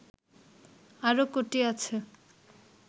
আরও কটি আছে